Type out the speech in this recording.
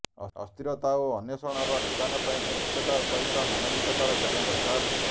ଅସ୍ଥିରତା ଓ ଅନେ୍ବଷଣର ନିଦାନ ପାଇଁ ନୈତିକତା ସହିତ ମାନବିକତାର ଜ୍ଞାନ ଦରକାର